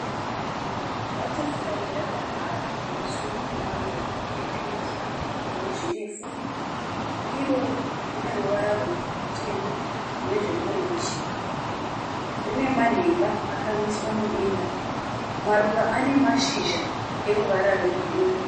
Bhatafurai rakamhara pamusoro pemaruva epingi ane zvirefu. Iro rine ruvara rutema nezve orenji. Rine manhenga akamiswa mudenga. Maruva ane mashizha eruvara rwegirini.